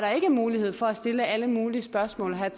er ikke mulighed for at stille alle mulige spørgsmål og have